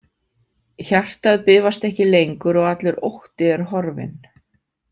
Hjartað bifast ekki lengur og allur ótti er horfinn.